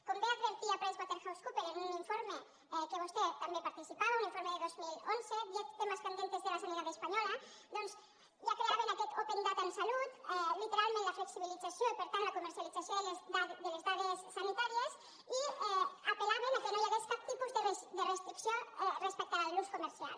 com bé advertia pricewaterhousecoopers en un informe en què vostè també hi participava un informe de dos mil onze diez temas candentes de la sanidad española doncs ja creaven aquest open datament la flexibilització i per tant la comercialització de les dades sanitàries i apel·laven que no hi hagués cap tipus de restricció respecte a l’ús comercial